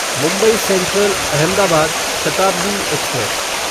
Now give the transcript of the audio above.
Mumbai central Ahmedabad Shatabdi express